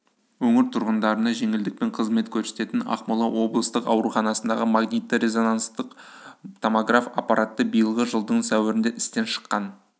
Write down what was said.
өңір тұрғындарына жеңілдікпен қызмет көрсететін ақмола облыстық ауруханасындағы магнитті-резонанстық томограф аппараты биылғы жылдың сәуірінде істен шыққан